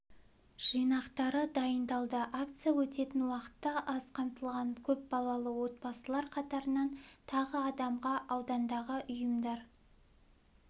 жинақтары дайындалды акция өтетін уақытта аз қамтылған көп балалы отбасылар қатарынан тағы адамға аудандағы ұйымдар